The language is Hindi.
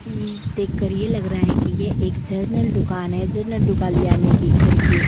ये देखकर ये लग रहा है कि ये एक जनरल दुकान है। जनरल दुकान यानी की घर के --